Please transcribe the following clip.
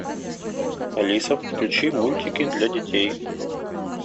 алиса включи мультики для детей